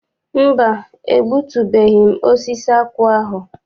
Mba, egbutubeghị m osisi akwụ ahụ.